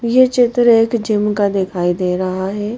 ये चित्र एक जिम का दिखाई दे रहा है।